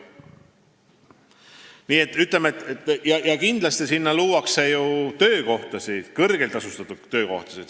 Kindlasti luuakse sellesse tehasesse töökohtasid, kõrgelt tasustatud töökohtasid.